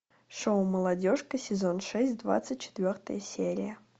шоу молодежка сезон шесть двадцать четвертая серия